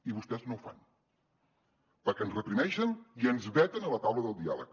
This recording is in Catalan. i vostès no ho fan perquè ens reprimeixen i ens veten a la taula del diàleg